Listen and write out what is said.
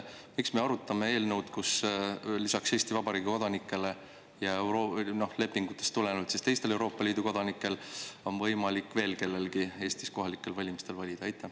Miks me arutame eelnõu, mille järgi lisaks Eesti Vabariigi kodanikele ja lepingutest tulenevalt teistele Euroopa Liidu kodanikele on võimalik veel kellelgi Eestis kohalikel valimistel valida?